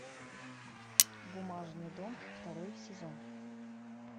бумажный дом второй сезон